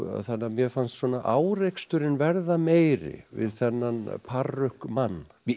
þannig að mér fannst svona áreksturinn verða meiri við þennan